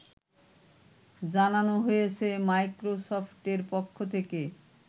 জানানো হয়েছে মাইক্রোসফটের পক্ষ থেকে